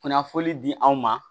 Kunnafoni di anw ma